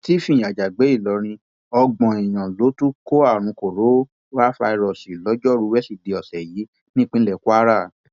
stephen àjàgbé ìlọrin ọgbọn èèyàn ló tún kó àrùn korofairósóì lọjọrùú wẹsídẹẹ ọsẹ yìí nípínlẹ kwara